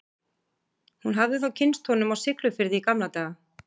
Hún hafði þá kynnst honum á Siglufirði í gamla daga.